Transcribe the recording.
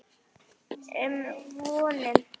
um vonum.